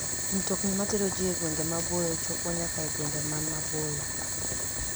Mtokni matero ji e gwenge maboyo chopo nyaka e gwenge man maboyo.